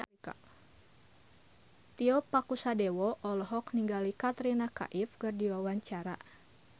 Tio Pakusadewo olohok ningali Katrina Kaif keur diwawancara